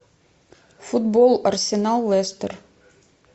футбол арсенал лестер